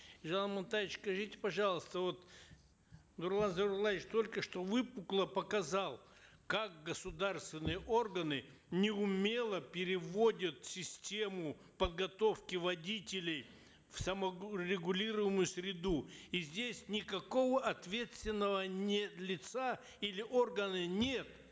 елжан амантаевич скажите пожалуйста вот нурлан зайроллаевич только что выпукло показал как государственные органы неумело переводят систему подготовки водителей в регулируемую среду и здесь никакого ответственного нет лица или органа нет